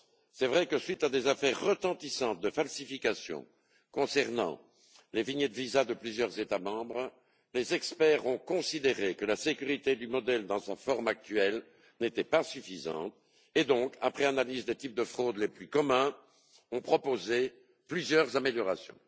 À la suite d'affaires retentissantes de falsification des vignettes visa de plusieurs États membres, les experts ont considéré que la sécurité du modèle dans sa forme actuelle n'était pas suffisante et donc, après analyse des types de fraudes les plus communs, ils ont proposé plusieurs améliorations.